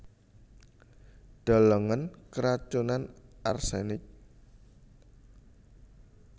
Delengen keracunan arsenik